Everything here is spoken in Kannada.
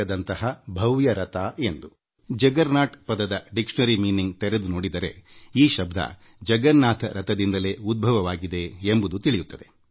ನಿಘಂಟಿನಲ್ಲಿ ವ್ಯುತ್ಪತ್ತಿಶಾಸ್ತ್ರದ ಪ್ರಕಾರ ಜುಗ್ಗೇರ್ನೌತ್ ಮೂಲ ಹುಡುಕಿದರೆ ಅದು ಭಗವಾನ್ ಜಗನ್ನಾಥನ ರಥದಿಂದ ಬಂದಿದೆ ಎಂಬುದು ತಿಳಿಯುತ್ತದೆ